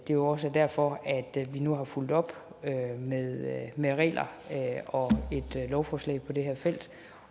det er også derfor at vi nu har fulgt op med med regler og et lovforslag på det her felt